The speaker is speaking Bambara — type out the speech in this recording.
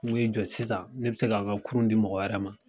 N ko i jɔ sisan ne bɛ se k'a n ka kurun di mɔgɔ wɛrɛ ma.